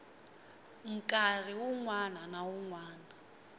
nkarhi wun wana na wun